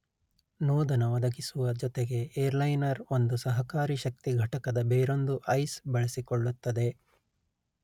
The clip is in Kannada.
ನೋದನ ಒದಗಿಸುವ ಜೊತೆಗೆ ಏರ್ಲೈನರ್ ಒಂದು ಸಹಕಾರಿ ಶಕ್ತಿ ಘಟಕದ ಬೇರೊಂದು ಐಸ್ ಬಳಸಿಕೊಳ್ಳುತ್ತದೆ